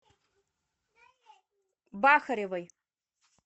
бахаревой